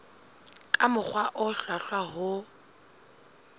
ka mokgwa o hlwahlwa ho